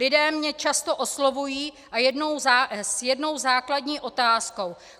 Lidé mě často oslovují s jednou základní otázkou.